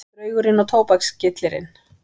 Draugurinn og tóbakskyllirinn